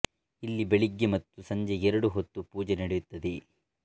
ಇಲ್ಲಿ ಬೆಳಿಗ್ಗೆ ಮತ್ತು ಸಂಜೆ ಎರಡು ಹೊತ್ತು ಪೂಜೆ ನಡೆಯುತ್ತದೆ